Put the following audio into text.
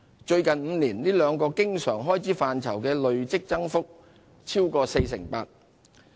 最近5年，這兩個經常開支範疇的累積增幅超過 48%。